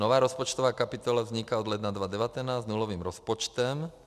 Nová rozpočtová kapitola vzniká od ledna 2019 s nulovým rozpočtem.